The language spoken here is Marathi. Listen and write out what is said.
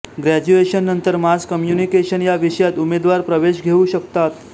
ग्रॅज्युएशननंतर मास कम्युनिकेशन या विषयात उमेदवार प्रवेश घेऊ शकतात